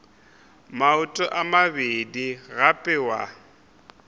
maoto a mabedi gape wa